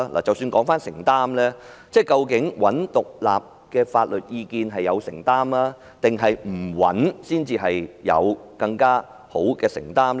即使談到承擔，究竟尋求獨立的法律意見是有承擔，還是不尋求才是更有承擔呢？